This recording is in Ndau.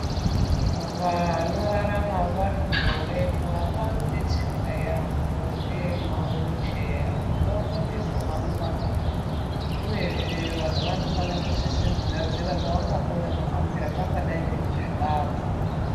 Vanorarama vari muhurema vanodetsereka yambo ngemawilicheya, kuti vakone kuhamba uyezve vantu vanofane kusisa kugadzira pavangakone kuhambira ,pangadayi nekuzvilavha.